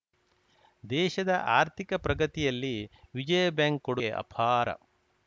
ದೇಶದ ಆರ್ಥಿಕ ಪ್ರಗತಿಯಲ್ಲಿ ವಿಜಯ ಬ್ಯಾಂಕ್‌ ಕೊಡುಗೆ ಅಪಾರ